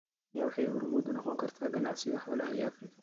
Kenya waxay hormuud u noqon kartaa ganacsiga xoolaha ee Afrika.